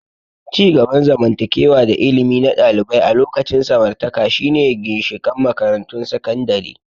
Ci gaban zamantakewa da ilimi na ɗalibai a lokacin samartaka shine ginshiƙan makarantun sakandare.